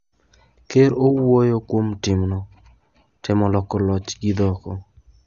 Ker ouoyo kuom timno "temo loko loch" gi "ndhoko".